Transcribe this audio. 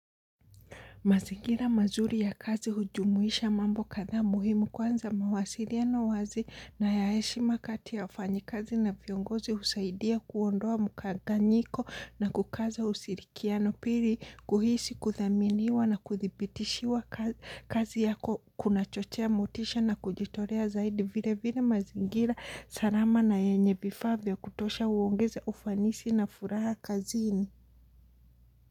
Mazingira mazuri ya kazi hujumuisha mambo kadhaa muhimu, kwanza mawasiliano wazi, nayaheshima kati ya wafanyikazi na viongozi husaidia kuondoa mkanganyiko na kukaza usirikiano, pili kuhisi kudhaminiwa na kudhibitishiwa ka kazi yako kuna chochea motisha na kujitorea zaidi vile vile mazingira salama na yenye vifaa vya kutosha huongeza ufanisi na furaha kazini.